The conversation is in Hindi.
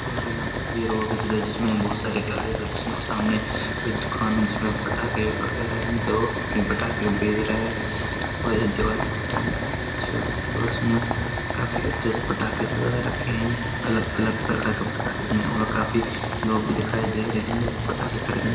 और यहाँ पर किसी रोड का चित्र है जिसमें बहुत सारी गाड़ियाँ चल रही है और सामने कोई दुकान है जिसमें पटाखे वगैरह हैं तो अपने पटाखे बेज रहा है और ये दिवाली के टाइम की पिक्चर है और इसमें काफी अच्छे से पटाखे सजा रखे हैं अलग-अलग प्रकार के पटाखे में और काफी लोग भी दिखाई दे रहे हैं जो पटाखे खरीदने --